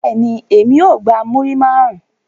Bẹ́ẹ̀ni, emi o gba muri marun